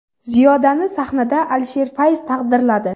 Ziyodani sahnada Alisher Fayz taqdirladi.